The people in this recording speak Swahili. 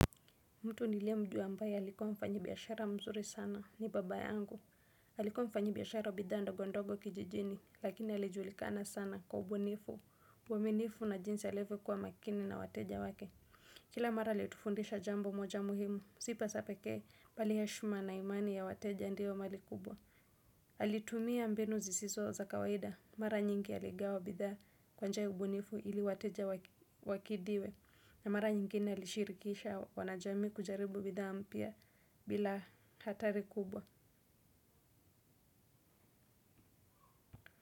Mtu nilie mjua ambaye alikuwa mfanyi biashara mzuri sana ni baba yangu. Alikuwa mfanyi biashara wa bidhaa ndogo ndogo kijijini lakini alijulikana sana kwa ubunifu. Uwaminifu na jinsi alivyo kuwa makini na wateja wake. Kila mara alitifundisha jambo moja muhimu. Si pesa pekee bali hashima na imani yawateja ndio mali kubwa. Alitumia mbinu zisiso za kawaida. Mara nyingi aligawa bidaa kwanja ubunifu ili wateja wakidiwe. Na mara nyingine ilishirikisha wanajamii kujaribu bidhaa mpya bila hatari kubwa.